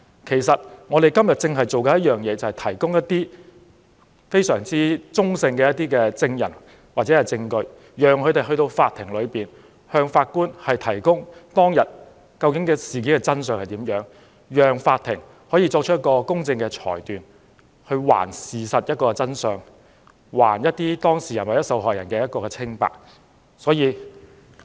其實，我們正是要提供中立的證人或證據，讓他們向法庭提供當日發生的事件的真相，讓法庭作出公正裁決，還事實一個真相，還當事人或受害人清白。